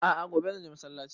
A'a gobe zan je masallaci